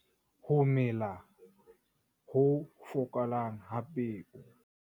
Ho mela ho fokolang ha peo.